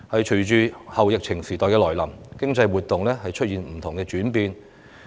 隨着後疫情時代來臨，經濟活動出現不同的轉變。